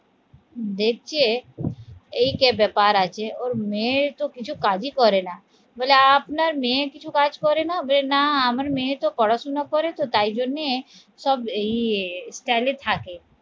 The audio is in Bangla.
দেখছে এই যে ব্যাপার আছে ওর মেয়ের তো কিছু কাজই করে না, বলে আপনার মেয়ে কিছু কাজ করে না? বলা না আমার মেয়ে তো পড়াশোনা করে তো তাই জন্যে সব এই style এ থাকে